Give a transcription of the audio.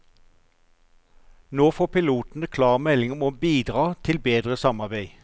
Nå får pilotene klar melding om å bidra til bedre samarbeid.